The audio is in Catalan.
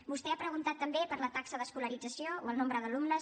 vostè ha preguntat també per la taxa d’escolarització o el nombre d’alumnes